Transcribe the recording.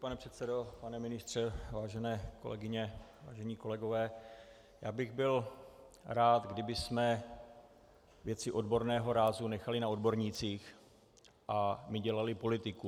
Pane předsedo, pane ministře, vážené kolegyně, vážení kolegové, já bych byl rád, kdybychom věci odborného rázu nechali na odbornících a my dělali politiku.